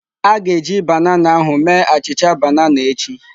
A ga-eji banana ahụ mee achịcha banana echi.